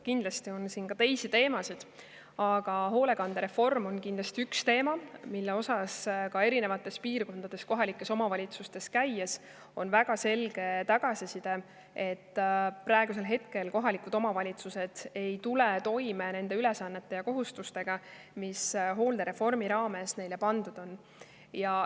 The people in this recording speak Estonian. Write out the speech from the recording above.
Kindlasti on ka teisi teemasid, aga hoolekandereform on üks teema, mille kohta oleme eri piirkondade kohalikes omavalitsustes käies saanud väga selget tagasisidet, et kohalikud omavalitsused ei tule toime ülesannete ja kohustustega, mis hooldereformi raames neile pandud on.